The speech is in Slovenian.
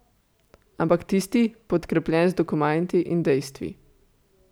Ampak tisti, podkrepljen z dokumenti in dejstvi.